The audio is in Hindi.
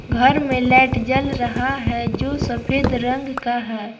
घर में लाइट जल रहा है जो सफेद रंग का है।